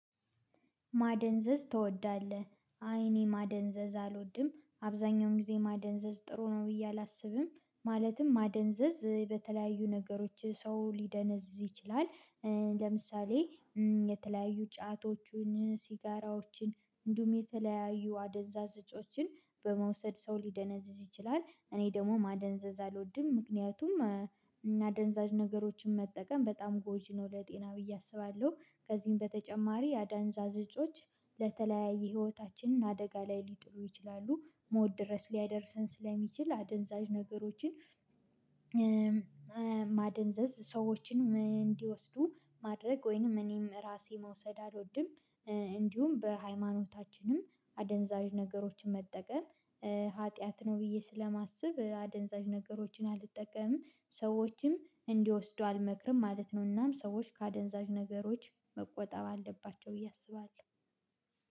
ማደንዘዝ ትወዳለህ? አይ እኔ ማደንዘዝ አልወድም አብዛኛውን ጊዜ ማደንዘዝ ጥሩ ነው ብዬ አላስብም። ማለትም ማደንዘዝ በተለያዩ ነገሮች ሰው ሊደነዝዝ ይችላል። ለምሳሌ የተለያዩ ጫቶቹን ሲጋራዎችን እንዲሁም የተለያዩ አደንዛዥ እጾችን በመውሰድ ሰው ሊደነዝዝ ይችላል። እኔ ደግሞ ማደንዘዝ አልወድም ምክንያቱም አደንዛዥ ነገሮችን መጠቀም በጣም ጎጂ ነው ለጤና ብዬ አስባለሁ። ከዚህም በተጨማሪ አደንዛዥ እጾች ለተለያዩ ህይወታችንን አደጋ ላይ ሊጥሉ ይችላሉ። ሞት ድረስ ሊያደርሰን ስለሚችል አደንዛዥ ነገሮችን ማደንዘዝ ሰዎችን እንዲወስዱ ማድረግ ወይንም እኔም ራሴ መውሰድ አልወድም። እንዲሁም በሃይማኖታችንም አደንዛዥ ነገሮችን መጠቀም ኃጢአት ነው ብዬ ስለማስብ አደንዛዥ ነገሮችን አልጠቀምም ሰዎችም እንዲወስዱ አልመክርም ማለት ነው። እናም ሰዎች ከአደንዛዥ ነገሮች መቆጠብ አለባቸው ብዬ አስባለሁ